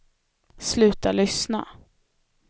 sluta lyssna